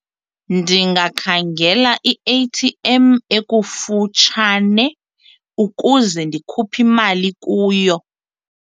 Ndingakhangela i-A_T_M ekufutshane ukuze ndikhuphe imali kuyo.